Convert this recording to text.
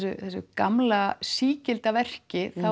gamla sígilda verki